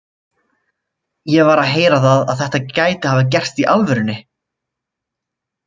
Ég var að heyra það að þetta gæti hafa gerst í alvörunni.